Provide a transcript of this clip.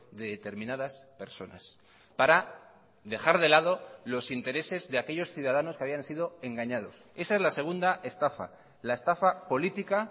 de determinadas personas para dejar de lado los intereses de aquellos ciudadanos que habían sido engañados esa es la segunda estafa la estafa política